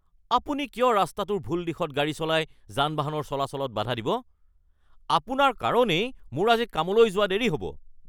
আপুনি কিয় ৰাস্তাটোৰ ভুল দিশত গাড়ী চলাই যান-বাহনৰ চলাচলত বাধা দিব? আপোনাৰ কাৰণেই মোৰ আজি কামলৈ যোৱা দেৰি হ'ব।